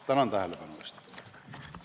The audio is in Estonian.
Tänan tähelepanu eest!